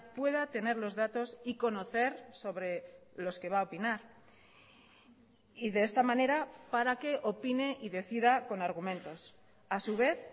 pueda tener los datos y conocer sobre los que va a opinar y de esta manera para que opine y decida con argumentos a su vez